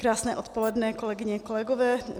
Krásné odpoledne, kolegyně, kolegové.